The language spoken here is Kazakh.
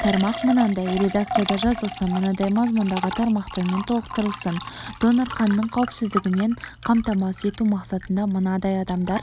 тармақ мынадай редакцияда жазылсын мынадай мазмұндағы тармақтармен толықтырылсын донор қанының қауіпсіздігін қамтамасыз ету мақсатында мынадай адамдар